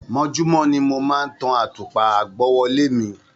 Mojumo ni mo máa ń tan àtùpà àgbọ́wọ́lẹ́ mi.